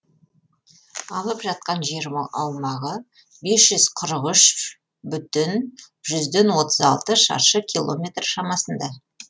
алып жатқан жер аумағы бес жүз қырық үш бүтін жүзден отыз алты шаршы километр шамасында